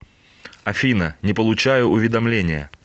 афина не получаю уведомления